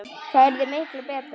Það yrði miklu BETRA!